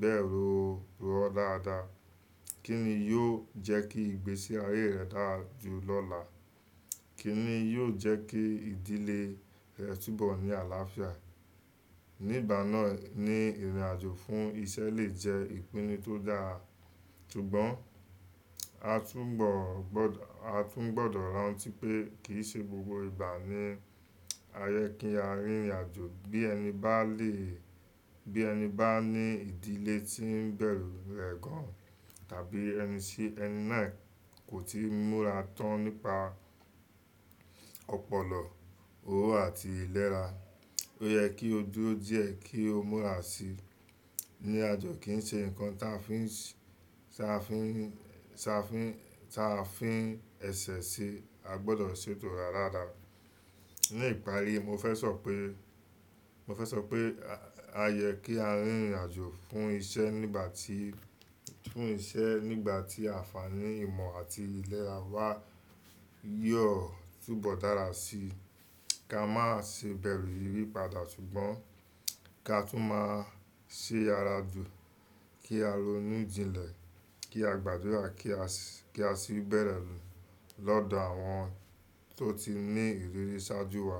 bẹ́ẹ̀ rò ó dáadáa. Kí ni yóò jẹ́ kí ìgbésí ayé rẹ̀ dáa jù lọ́la? Kí ni yóò jẹ́ kí ìdílé rẹ̀ túbọ̀ ní àlàáfíà? Nígbà náà ni rìnrìn àjò fún iṣẹ́ lè jẹ́ ìpinnu tó dáa. Ṣùgbọ́n a tún gbọdọ̀ a tún gbọdọ̀ rántí pé kì í ṣe gbogbo ìgbà ni a yẹ kí á rìnrìn àjò. Bí ẹni bá lè bí ẹni bá ní ìdílé tí ń bẹ̀rù rẹ̀ gan tàbí ẹni sí ẹni náà kò tíì múra tán nípa ọpọlọ, owó àti iléra. Ó yẹ kí ó dúró díẹ̀ kí ó múra sí i. Rìnrìn àjò kì í ṣe nǹkan táa fí n ṣ táa fí n ṣ táa fí táa n fí ẹ̀sẹ̀ se. A gbọdọ̀ ṣètò wa dáadáa. Ní ìparí, mo fẹ́ sọ pé mo fẹ́ sọ pé a yẹ kí á rìnrìn àjò fún iṣẹ́ nígbà tí fún iṣẹ́ nígbà tí ànfaàní ìmọ̀ àti iléra wá yoo túbọ̀ dára sí i. Kí a má ṣe bẹ̀rù ìyipadà ṣùgbọ́n kí a tún máa ṣe ara jù kí a ronú jinlẹ̀ kí a gbàdúrà kí a sì kí a sì bẹ̀re lọ́dọ̀ àwọn tó ti ní ìrírí ṣáájú wa.